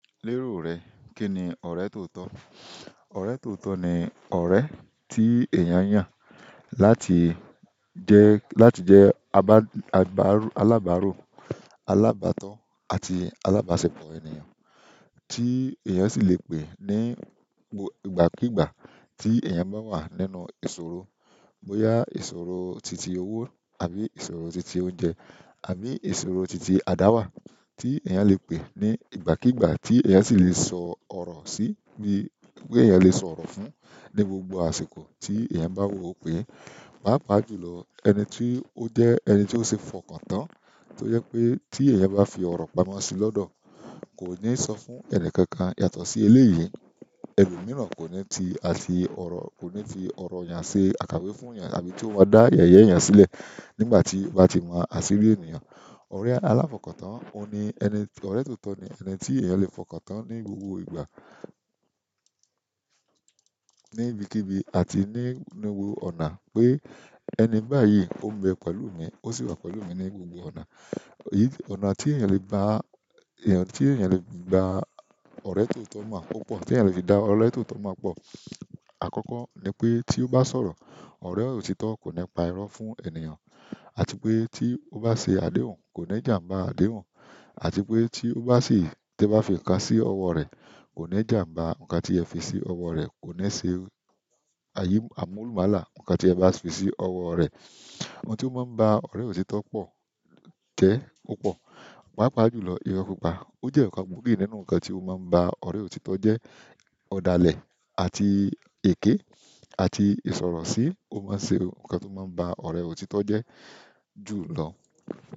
Lérò rẹ, kí ni ọ̀rẹ́ tòótọ́? Ọ̀rẹ́ tòótọ́ ni ọ̀rẹ́ tí èèyàn yàn láti jẹ́, láti jẹ́ alábàárò, alábátọ́ àti alábàṣepọ̀ ènìyàn tí èèyàn sì lè pè ní ìgbàkígbà tí èèyàn bá wà nínú ìṣòro, bóyá ìṣòro titi owó àbí ìṣòro titi oúnjẹ àbí ìṣòro titi àdáwà tí èèyàn lè pè ní ìgbàkígbà tí èèyàn sì lè sọ ọ̀rọ̀ sí bí pé èèyàn lè sọ ọ̀rọ̀ fún ní gbogbo àsìkò tí èèyàn bá wò ó pé, pàápàá jùlọ ẹni tí ó jẹ́ ẹni tí ó ṣe fọkàntán tó yẹ pé tí èèyàn bá fi ọ̀rọ̀ pamọ́ sí lọ́dọ̀ kò ní sọ fún ẹni kankan yàtọ̀ sí eléyìí. Ẹ̀lo mìíràn kò ní ti àti ọ̀rọ̀, kò ní fi ọ̀rọ̀ eeyàn ṣe àkàwé fún èèyàn àbí tí ó máa dá yẹ̀yẹ́ èèyàn sílẹ̀ nígbà tí ó bá ti mon asiri ènìyàn. Ọ̀rẹ́ aláfokàntán, ó ni ẹni, ọ̀rẹ́ tòótọ́ ni ẹni tí èèyàn lè fọkàntán ní gbogbo ìgbà, ní ibikíbi àti ní gbogbo ọ̀nà pé ẹni báyìí ó ń bẹ pẹ̀lú mi, ó sì wà pẹ̀lú mi ní gbogbo ọ̀nà. Ọ̀nà tí èèyàn lè gba èèyàn, tí èèyàn lè gba ọ̀rẹ́ tòótọ́ mọ̀ púpọ̀, tí èèyàn lè fi dá ọ̀rẹ́ tòótọ́ mọ̀ pọ̀. Àkọ́kọ́ ni pé tí ó bá sọ̀rọ̀, ọ̀rẹ́ òtítọ́ kò ní pa irọ́ fún ènìyàn àti pé tí ó bá ṣe àdéhùn kò ní jà ń ba àdéhùn àti pé tí ó bá sì, tí e bá fi nǹkan sí ọwọ́ rẹ̀ ko ni jamba nkan ti e ba fi si owo re ko ni se amulumala nkan ti e ba fi si owo re. Ohun tí ó máa ń ba ọ̀rẹ́ òtítọ́ pọ̀ jẹ́ púpọ̀, pàápàá jùlọ irọ́ púpọ̀. O je nkan gbogi nínú nkan to maa nba ọ̀rẹ́ òtítọ́ je ọ̀dàlẹ̀ àti èké àti ìsọ̀rọ̀sí ló máa ń ṣe ohun kan tó máa ń ba ọ̀rẹ́ òtítọ́ jẹ́ jùlọ.